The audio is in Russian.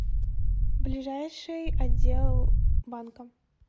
ближайший отдел банка